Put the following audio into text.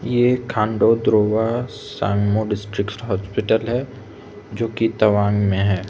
यह खंडो ध्रुवा संगमों डिस्ट्रिक्ट हॉस्पिटल है जो की तवांग में है।